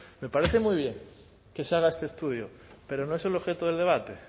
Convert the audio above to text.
me parece muy bien que se haga este estudio pero no es el objeto del debate